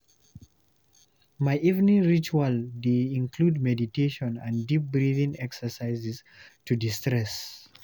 My evening ritual dey include meditation and deep breathing exercises to de-stress.